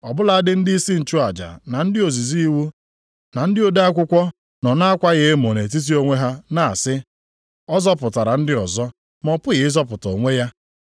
Ọ bụladị ndịisi nchụaja, na ndị ozizi iwu na ndị ode akwụkwọ nọ na-akwa ya emo nʼetiti onwe ha na-asị, “Ọ zọpụtara ndị ọzọ, ma ọ pụghị ịzọpụta onwe ya!